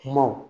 Kumaw